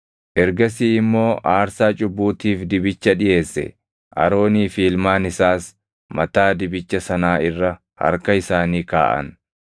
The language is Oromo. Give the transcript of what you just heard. Ergasii immoo aarsaa cubbuutiif dibicha dhiʼeesse; Aroonii fi ilmaan isaas mataa dibicha sanaa irra harka isaanii kaaʼan.